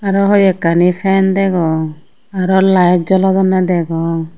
aro hoikkani sign degong aro light jolodonne degong.